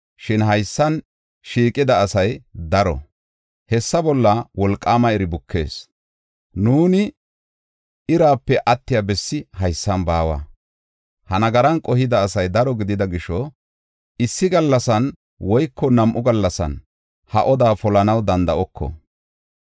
Shin haysan shiiqida asay daro; hessa bolla wolqaama iri bukees. Nuuni irape attiya bessi haysan baawa. Ha nagaran qohida asay daro gidida gisho, issi gallasan woyko nam7u gallasan ha oda polanaw danda7oko.